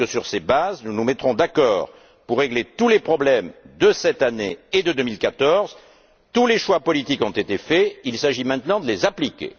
J'espère que, sur ces bases, nous nous mettrons d'accord pour régler tous les problèmes de cette année et de 2014. Tous les choix politiques ont été faits, il s'agit maintenant de les appliquer.